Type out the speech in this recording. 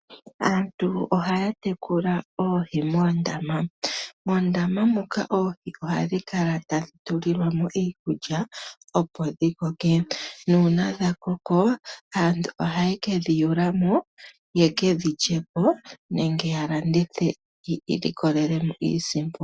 Aantu ohaya tekula oohi moondama. Moondama muka oohi ohadhi kala tadhi pelwamo iikulya opo dhikoke nuuna dha koko aantu ohaye kedhi yulamo ye kedhilyepo nenge ya landithe yi ilikolelemo iisimpo.